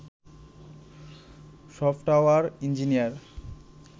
software engineer